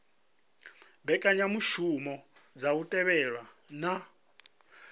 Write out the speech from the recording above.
mbekanyamushumo dza u thivhela na